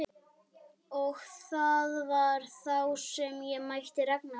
Og það var þá sem ég mætti Ragnari.